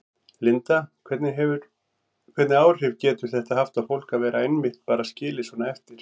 Linda: Hvernig áhrif getur þetta haft á fólk að vera einmitt bara skilið svona eftir?